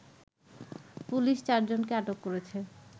police চারজনকে আটক করেছে